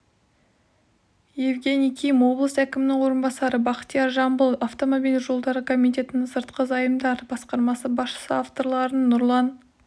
евгений ким облыс әкімінің орынбасары бақтияр жамбыл автомобиль жолдары комитетінің сыртқы зайымдар басқармасы басшысы авторлары нұрлан